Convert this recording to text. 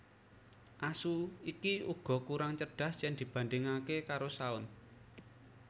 Asu iki uga kurang cerdas yen dibandhingake karo shaun